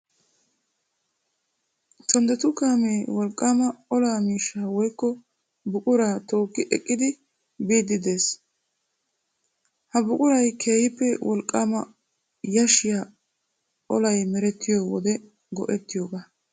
Tonddetu kaamee wolqqaama olaa miishshaa woykko buquraa tookki ekkidi biiddi de'ees. Ha buquray keehippe wolqqaama yashshiya Olay merettiyo wode go'ettiyogaa.